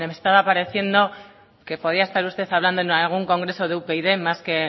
me estaba pareciendo que podía estar hablando usted en algún congreso de upyd más que